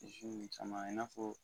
Tisi ninnu caman ye i n'a fɔ